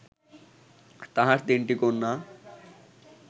তাঁহার তিনটি কন্যা